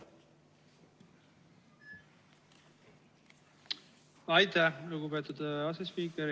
Aitäh, lugupeetud asespiiker!